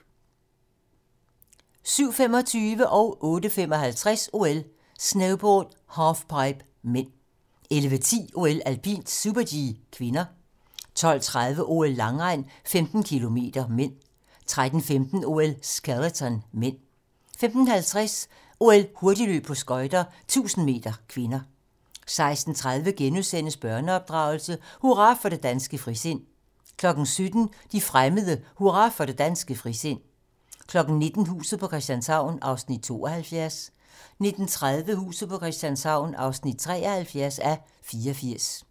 07:25: OL: Snowboard - halfpipe (m) 08:55: OL: Snowboard - halfpipe (m) 11:10: OL: Alpint - super-G (k) 12:30: OL: Langrend - 15 km (m) 13:15: OL: Skeleton (m) 15:50: OL: Hurtigløb på skøjter - 1000 m (k) 16:30: Børneopdragelse: Hurra for det danske frisind * 17:00: De fremmede: Hurra for det danske frisind 19:00: Huset på Christianshavn (72:84) 19:30: Huset på Christianshavn (73:84)